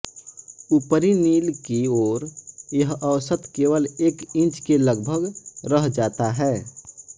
ऊपरी नील की ओर यह औसत केवल एक इंच के लगभग रह जाता है